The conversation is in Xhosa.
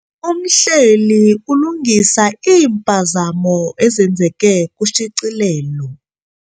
Umhleli ulungisa iimpazamo ezenzeke kushicilelo.